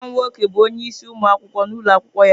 Nwa m nwoke bụ onye isi ụmụ akwụkwọ n'ụlọ akwụkwọ ya.